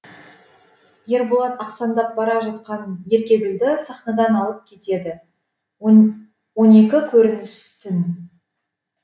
ерболат ақсандап бара жатқан еркегүлді сахнадан алып кетеді он екі көрініс түн